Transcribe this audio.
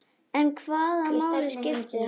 En hvaða máli skiptir hann?